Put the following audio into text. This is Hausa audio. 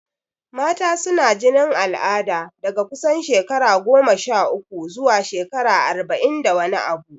Mata suna jinin al'ada daga kusan shekara goma sha uku zuwa shekara arba'in da wani abu.